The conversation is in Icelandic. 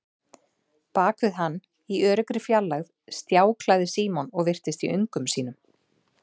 Bak við hann, í öruggri fjarlægð, stjáklaði Símon og virtist í öngum sínum.